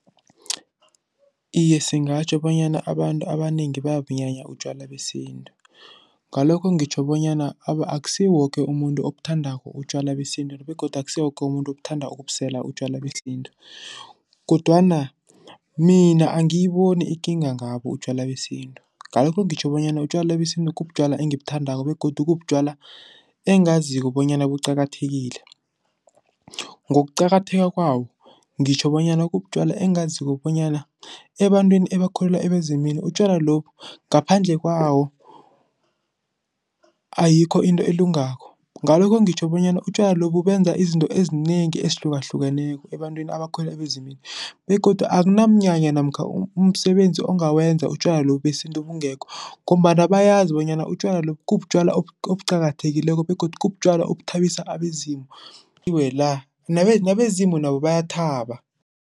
Iye, singatjho bonyana abantu abanengi bayabunyanya utjwala besintu. Ngalokho, ngitjho bonyana akusiwo woke umuntu obuthandako utjwala besintu begodu akusiwo woke umuntu othanda ukubusela utjwala besintu kodwana mina angiyiboni ikinga ngabo utjwala besintu. Ngakho ngitjho bonyana utjwala besintu kubutjwala engibuthandako begodu kubutjwala engaziko bonyana buqakathekile. Ngokuqakatheka kwawo, ngitjho bonyana kubutjwala engaziko bonyana ebantwini ebakholelwa ebezimini utjwala lobu, ngaphandle kwawo ayikho into elungako. Ngalokho ngitjho bonyana utjwala lobu benza izinto ezinengi ezihlukahlukeneko ebantwini abakholelwa ebezimini begodu akunamnyanya namkha umsebenzi ongawenza utjwala lobu besintu bungekho ngombana bayazi bonyana utjwala lobu kubutjwala obuqakathekileko begodu kubutjalwa obuthabisa abezimu nabezimu nabo bayathaba.